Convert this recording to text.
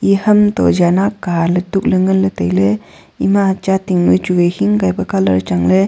eya ham to yan aa aka ley tuk ley ngan ley tailey ema chating noi chu vai hing kai pa colour chang ley.